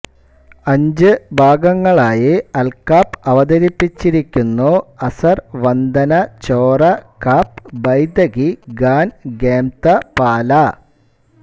അഞ്ച് ഭാഗങ്ങളായി അൽകാപ്പ് അവതരിപ്പിച്ചിരിക്കുന്നു അസർ വന്ദന ചോറ കാപ്പ് ബൈതകി ഗാൻ ഖേംത പാല